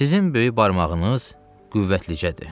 Sizin böyük barmağınız qüvvətlidir.